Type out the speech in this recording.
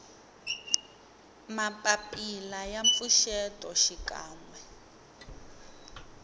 mapapila ya mpfuxeto xikan we